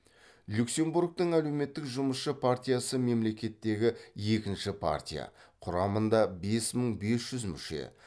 люксембургтік әлеуметтік жұмысшы партиясы мемлекеттегі екінші партия құрамында бес мың бес жүз мүше